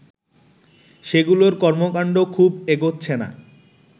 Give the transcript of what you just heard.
সেগুলোর কর্মকাণ্ড খুব এগুচ্ছে না